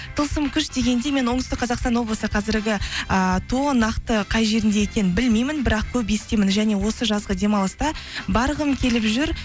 тылсым күш дегенде мен оңтүстік қазақстан облысы қазіргі ііі тоо нақты қай жерінде екенін білмеймін бірақ көп естимін және осы жазғы демалыста барғым келіп жүр